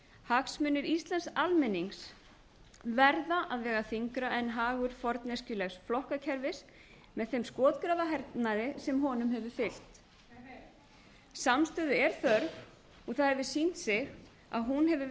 hagsmunir íslensks almennings verða að vega þyngra en hagur forneskjulegs flokkakerfis með þeim skotgrafahernaði sem honum hefur fylgt heyr heyr samstöðu er þörf og það hefur sýnt sig að hún hefur